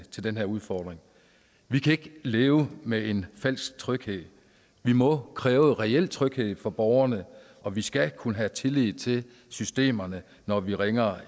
til den her udfordring vi kan ikke leve med en falsk tryghed vi må kræve reel tryghed for borgerne og vi skal kunne have tillid til systemerne når vi ringer